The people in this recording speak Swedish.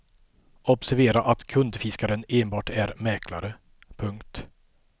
Observera att kundfiskaren enbart är mäklare. punkt